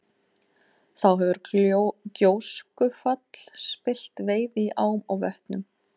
Þá hefur gjóskufall spillt veiði í ám og vötnum.